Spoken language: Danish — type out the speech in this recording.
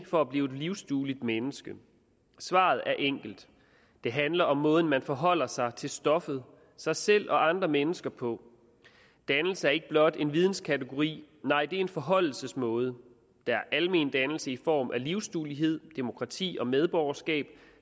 for at blive et livsdueligt menneske svaret er enkelt det handler om måden man forholder sig til stoffet sig selv og andre mennesker på dannelse er ikke blot en videnskategori nej det er en forholdelsesmåde der er almendannelse i form af livsduelighed demokrati og medborgerskab